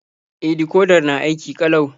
E, dikodar na aiki ƙalau.